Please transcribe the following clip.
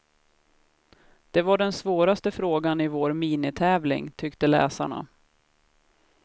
Det var den svåraste frågan i vår minitävling, tyckte läsarna.